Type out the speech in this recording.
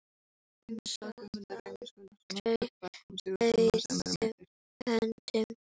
Hún sat aldrei auðum höndum.